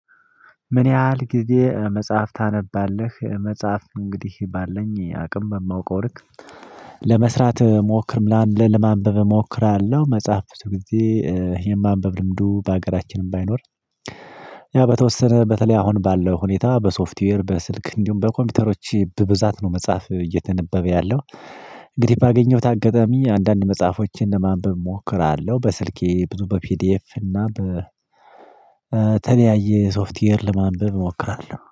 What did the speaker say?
ምን ያህል ጊዜ መጽሐፍ ታነባለህ? መጽሐፍ እንግዲህ ባለኝ አቅም በማውቀው ልክ ለመስራት ሞክር ለማ ለማንበብ እሞክራለሁ። መጽሐፍ ብዙ ጊዜ የማንበብ ልምዱ በሀገራችንም ባይኖር። ያ በተወሰነ በተለይ አሁን ባለው ሁኔታ በሶፍትዌር በስልክ እንዲሁም በኮምፒውተሮች በብዛት ነው መጽሐፍ እየተነበበ ያለው። እንግዲህ ባገኘሁት አጋጣሚ አንዳንድ መጽሐፎችን ለማንበብ እሞክራለሁ። በስልኬ ብዙ በፒዲኤፍ እና በተለያየ ሶፍትዌር ለማንበብ እሞክራለሁ